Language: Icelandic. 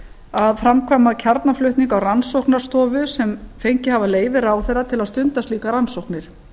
að framkvæma kjarnaflutning á rannsóknarstofum sem fengið hafa leyfi ráðherra til að stunda slíkar rannsóknir